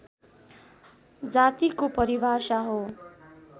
जातिको परिभाषा हो